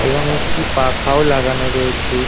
এবং একটি পাখাও লাগানো রয়েছে।